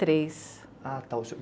e três